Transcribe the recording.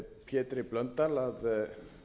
pétri blöndal að